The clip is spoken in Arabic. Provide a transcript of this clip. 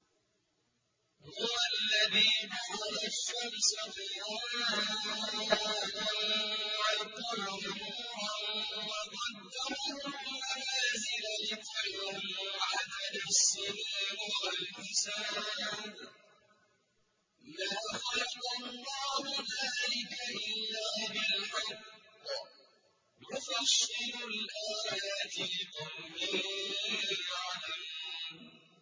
هُوَ الَّذِي جَعَلَ الشَّمْسَ ضِيَاءً وَالْقَمَرَ نُورًا وَقَدَّرَهُ مَنَازِلَ لِتَعْلَمُوا عَدَدَ السِّنِينَ وَالْحِسَابَ ۚ مَا خَلَقَ اللَّهُ ذَٰلِكَ إِلَّا بِالْحَقِّ ۚ يُفَصِّلُ الْآيَاتِ لِقَوْمٍ يَعْلَمُونَ